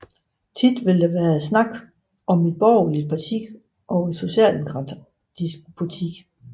Ofte vil der være tale om et borgerligt parti og et socialdemokratisk parti